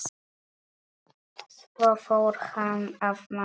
Svo fór hann að mála.